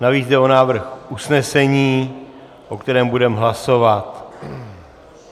Navíc jde o návrh usnesení, o kterém budeme hlasovat.